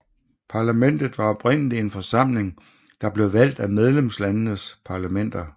Parlamentet var oprindelig en forsamling der blev valgt af medlemslandenes parlamenter